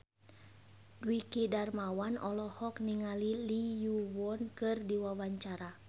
Dwiki Darmawan olohok ningali Lee Yo Won keur diwawancara